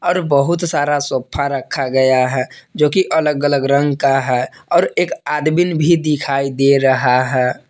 और बहुत सारा सोफा रखा गया है जोकि अलग अलग रंग का है और एक आदमीन भी दिखाई दे रहा है।